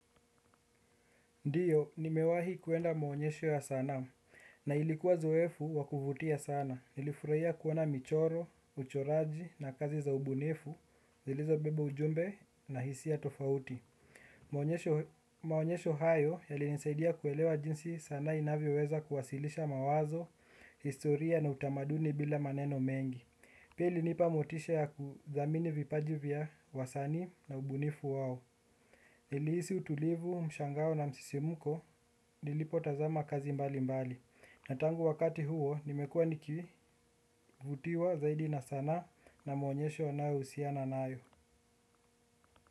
Ndio, nimewahi kwenda maonyesho ya sanaa. Na ilikuwa zoefu wakuvutia sana. Nilifurahia kuona michoro, uchoraji na kazi za ubunifu, zilizo beba ujumbe na hisia tofauti. Maonyesho hayo yalinisaidia kuelewa jinsi sanaa inavyo weza kuwasilisha mawazo, historia na utamaduni bila maneno mengi. Pia ilinipa motisha ya kuthamini vipaji vya wasanii na ubunifu wao. Nilihisi utulivu mshangao na msisimko nilipo tazama kazi mbali mbali. Na tangu wakati huo nimekuwa nikivutiwa zaidi na sanaa na maonyesho yanayohusiana nayo.